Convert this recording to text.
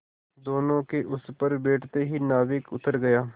दोेनों के उस पर बैठते ही नाविक उतर गया